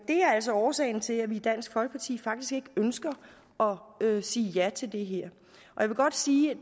det er altså årsagen til at vi i dansk folkeparti faktisk ikke ønsker at sige ja til det her jeg vil godt sige at